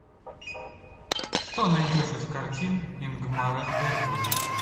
что найдешь из картин ингмара бергмана